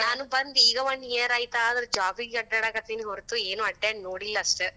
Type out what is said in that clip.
ನಾನು ಬಂದ್ ಈಗ one year ಆಯ್ತ, ಆದ್ರ Job ಗಿ ಅಡ್ಯಾಡಕತ್ತೇನಿ ಹೊರತು ಏನು ಅಡ್ಯಾಡ ನೋಡಿಲಸ್ಟ.